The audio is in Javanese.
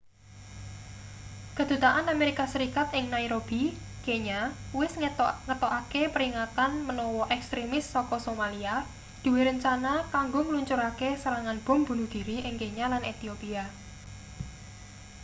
kedutaan amerika serikat ing nairobi kenya wis ngetokaki peringatan menawa ekstrimis saka somalia duwe rencana kanggo ngluncurake serangan bom bunuh diri ing kenya lan ethiopia